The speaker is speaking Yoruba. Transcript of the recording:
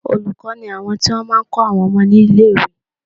Olùkọ́ ni àwọn tí wọ́n máa ń kọ́ àwọn ọmọ ní ilé-ìwé